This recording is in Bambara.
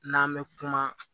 N'an bɛ kuma